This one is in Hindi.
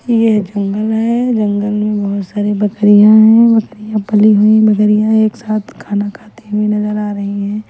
यह जंगल है जंगल में बहोत सारी बकरियाँ है बकरियाँ पली हुईं मगर यह एक साथ खाना खाती हुई नजर आ रही है।